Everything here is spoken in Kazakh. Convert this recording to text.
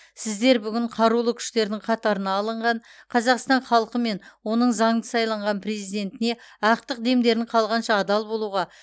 сіздер бүгін қарулы күштердің қатарына алынған қазақстан халқы мен оның заңды сайланған президентіне ақтық демдерін қалғанша адал болуға